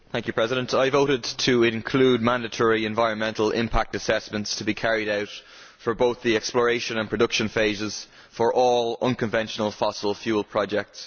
Mr President, I voted to include mandatory environmental impact assessments for both the exploration and production phases of all non conventional fossil fuel projects.